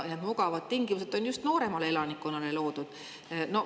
Mugavad tingimused on just nooremale elanikkonnale loodud.